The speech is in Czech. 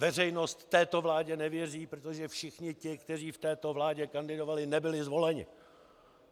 Veřejnost této vládě nevěří, protože všichni ti, kteří v této vládě kandidovali, nebyli zvoleni.